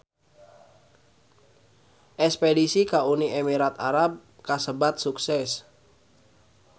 Espedisi ka Uni Emirat Arab kasebat sukses